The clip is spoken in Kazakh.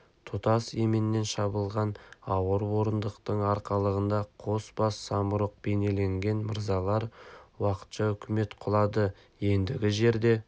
тұтас еменнен шабылған ауыр орындықтың арқалығында қос бас самұрық бейнеленген мырзалар уақытша үкімет құлады ендігі жерде